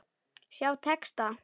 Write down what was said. Sjá texta.